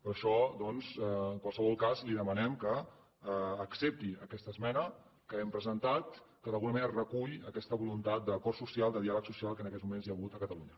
per això doncs en qualsevol cas li demanem que accepti aquesta esmena que hem presentat que d’alguna manera recull aquesta voluntat d’acord social de diàleg social que en aquests moments hi ha hagut a catalunya